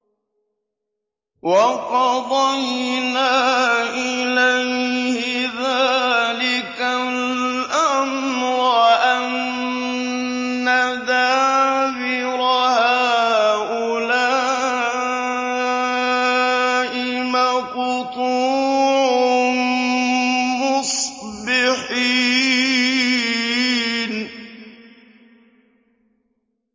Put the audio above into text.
وَقَضَيْنَا إِلَيْهِ ذَٰلِكَ الْأَمْرَ أَنَّ دَابِرَ هَٰؤُلَاءِ مَقْطُوعٌ مُّصْبِحِينَ